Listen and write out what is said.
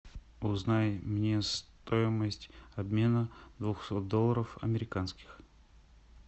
узнай мне стоимость обмена двухсот долларов американских